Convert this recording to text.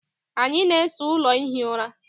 anyị na-ese ụlọ ihi ụra